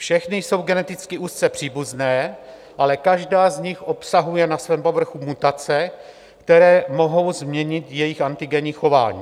Všechny jsou geneticky úzce příbuzné, ale každá z nich obsahuje na svém povrchu mutace, které mohou změnit jejich antigenní chování.